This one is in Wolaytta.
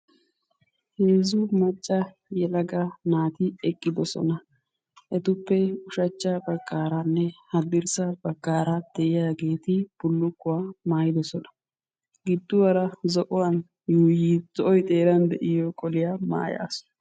heezzu macca yelaga naati eqqidosona. etuppe ushacha bagaaranne hadirssa bagaara de'iyaageeti bullukkuwaa maayidosona. giduwaara zo'oy xeeran de'iyo qoliyaa maayaasu.